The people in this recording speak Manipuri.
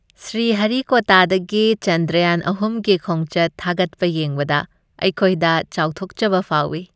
ꯁ꯭ꯔꯤꯍꯔꯤꯀꯣꯇꯥꯗꯒꯤ ꯆꯟꯗ꯭ꯔꯌꯥꯟ ꯑꯍꯨꯝꯒꯤ ꯈꯣꯡꯆꯠ ꯊꯥꯒꯠꯄ ꯌꯦꯡꯕꯗ ꯑꯩꯈꯣꯏꯗ ꯆꯥꯎꯊꯣꯛꯆꯕ ꯐꯥꯎꯋꯤ ꯫